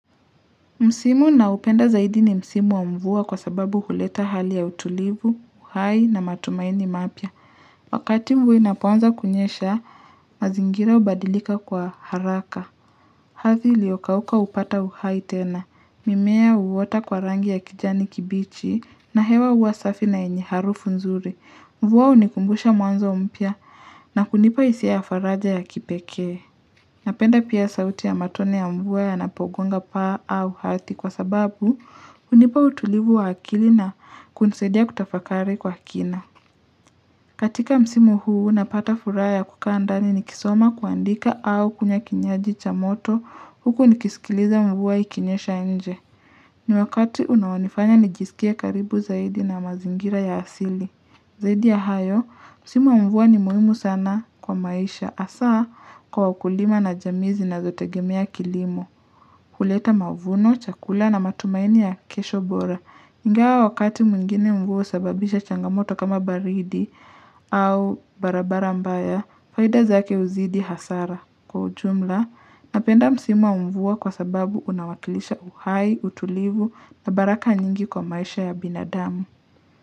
Msimu ninaoupenda zaidi ni Msimu wa mvua kwa sababu huleta hali ya utulivu, uhai na matumaini mapya. Wakati mvua inapoanza kunyesha, mazingira hubadilika kwa haraka. Ardhi iliokauka hupata uhai tena. Mimea huota kwa rangi ya kijani kibichi na hewa huwa safi na yenye harufu nzuri. Mvua hunikumbusha mwanzo mpya na kunipa hisia ya faraja ya kipekee. Napenda pia sauti ya matone ya mvua yanapogonga pa au hati kwa sababu hunipa utulivu wa akili na kunisaidia kutafakari kwa kina. Katika msimu huu napata furaha kukaa ndani nikisoma kuandika au kunywa kinywaji cha moto huku nikisikiliza mvua ikinyesha nje. Ni wakati unaonifanya nijisikia karibu zaidi na mazingira ya asili. Zaidi ya hayo, msimu wa mvua ni muhimu sana kwa maisha hasaa kwa ukulima na jamii zinazotegemea kilimo. Kuleta mavuno, chakula na matumaini ya kesho bora. Ingawa wakati mwingine mvua husababisha changamoto kama baridi au barabara mbaya, faida zake huzidi hasara kwa ujumla napenda msimu wa mvua kwa sababu unawakilisha uhai, utulivu na baraka nyingi kwa maisha ya binadamu.